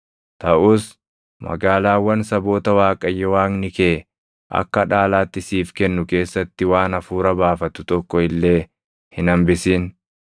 Taʼus magaalaawwan saboota Waaqayyo Waaqni kee akka dhaalaatti siif kennu keessatti waan hafuura baafatu tokko illee hin hambisin.